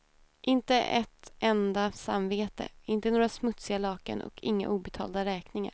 Inte ett enda samvete, inte några smutsiga lakan och inga obetalda räkningar.